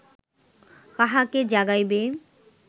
কাহাকে জাগাইবে